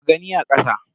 Mu gani a kasa.